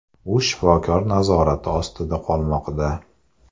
U shifokor nazorati ostida qolmoqda.